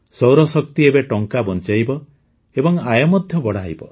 ସୌରଶକ୍ତି ଏବେ ଟଙ୍କା ବଞ୍ଚାଇବ ଏବଂ ଆୟ ମଧ୍ୟ ବଢ଼ାଇବ